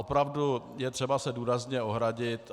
Opravdu je třeba se důrazně ohradit.